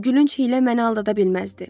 Bu gülünc hiylə məni aldada bilməzdi.